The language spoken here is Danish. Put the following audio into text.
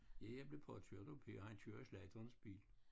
Ja jeg blev påkørt at Per han kørte i slagterens bil